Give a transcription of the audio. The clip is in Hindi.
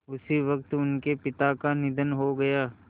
उसी वक़्त उनके पिता का निधन हो गया